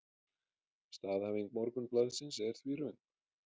Staðhæfing Morgunblaðsins er því röng